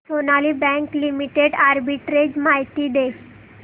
Sonali Bank Limited arbitrage माहिती दे